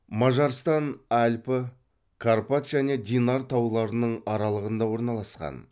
мажарстан альпі карпат және динар тауларының аралығында орналасқан